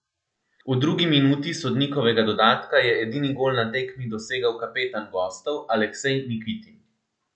V drugi minuti sodnikovega dodatka je edini gol na tekmi dosegel kapetan gostov Aleksej Nikitin.